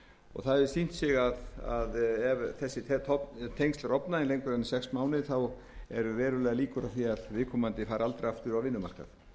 og það hefur sýnt sig að ef þessi tengsl rofna lengur en í sex mánuði eru verulegar líkur á því að viðkomandi fari aldrei aftur á vinnumarkað